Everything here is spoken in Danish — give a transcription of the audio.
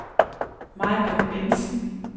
Majbrit Bentzen